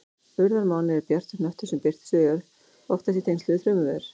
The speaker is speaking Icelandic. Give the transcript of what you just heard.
Urðarmáni er bjartur hnöttur sem birtist við jörð, oftast í tengslum við þrumuveður.